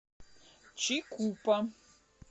чикупа